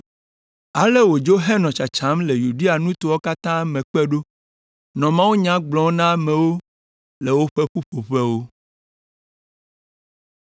Ale wòdzo henɔ tsatsam le Yudea nutowo katã me kpe ɖo, nɔ mawunya gblɔm na amewo le woƒe ƒuƒoƒewo.